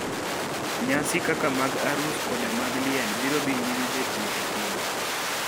Nyasi kaka mag arus koda mag liel biro dhi nyime betie e piny.